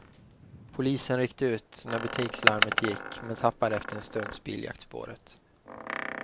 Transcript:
Polisen ryckte ut när butikslarmet gick men tappade efter en stunds biljakt spåret.